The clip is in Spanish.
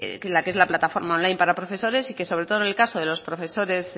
que la que es la plataforma online para profesores y que sobre todo el caso de los profesores